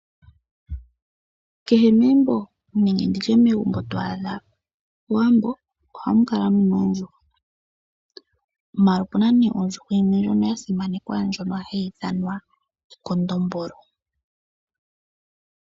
Kehe megumbo to adha moWambo ohamu kala muna oondjuhwa, maala opena nee ondjuhwa yimwe ndjono ya simanekwa ndjono hayi ithanwa ekondombolo.